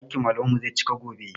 Ɗakin malaman mu zai cika gobe